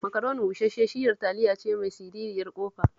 Macaroni bushash-shiyar taliya ce mai siririyar ƙofa